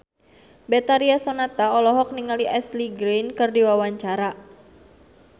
Betharia Sonata olohok ningali Ashley Greene keur diwawancara